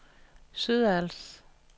Sydals